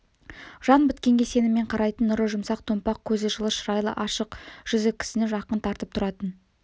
жан біткенге сеніммен қарайтын нұры жұмсақ томпақ көзі жылы шырайлы ашық жүзі кісіні жақын тартып тұратын